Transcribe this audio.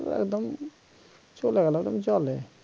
আহ একদম চলে গেল একদম জলে